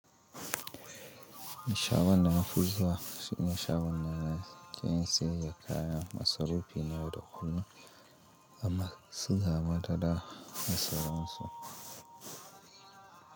In shaɓl wannna nafurza sun shaɓanta da ƙarin sayayya kaya. Masarufi na da kullum amma su gama ta da masarunsu.